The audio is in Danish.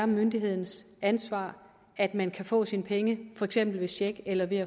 myndighedens ansvar at man kan få sine penge for eksempel ved check eller ved